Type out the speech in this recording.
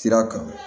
Sira kan